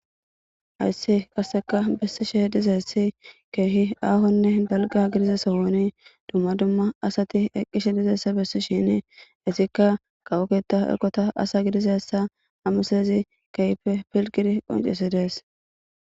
Hayssi kaseka bessi she dizessi keehi aahonne dalga gidiza sohoni dumma dumma asati eqqishe dizessa bessi shini isikka qawoketa erkota asa gidizassa amislezi kehpe pilgidi qoncesidees.